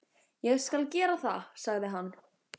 Ég skal gera það, sagði hann.